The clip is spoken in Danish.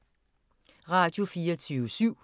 Radio24syv